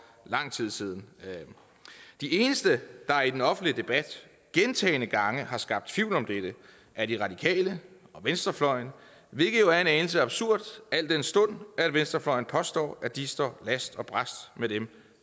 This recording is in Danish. lang tid siden de eneste der i den offentlige debat gentagne gange har skabt tvivl om dette er de radikale og venstrefløjen hvilket jo er en anelse absurd al den stund at venstrefløjen påstår at de står last og brast med dem